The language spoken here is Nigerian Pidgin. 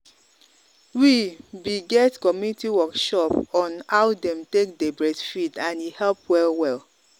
we be get community workshop on how them take day breastfeed and e help well well.